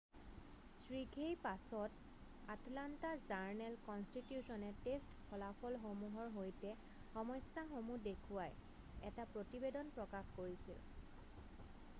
শীঘ্ৰেই পাছত আটলান্টা জাৰ্ণেল-কনষ্টিটিউছনে টেষ্ট ফলাফলসমূহৰ সৈতে সমস্যাসমূহ দেখুৱাই এটা প্ৰতিবেদন প্ৰকাশ কৰিছিল৷